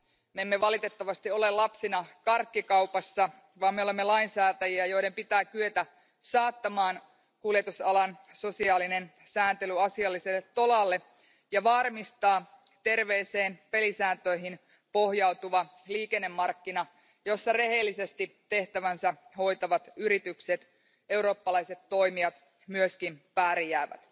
Me emme valitettavasti ole lapsina karkkikaupassa, vaan me olemme lainsäätäjiä, joiden pitää kyetä saattamaan kuljetusalan sosiaalinen sääntely asialliselle tolalle ja varmistaa terveeseen pelisääntöihin pohjautuvat liikennemarkkinat, jossa rehellisesti tehtävänsä hoitavat yritykset, eurooppalaiset toimijat, myös pärjäävät.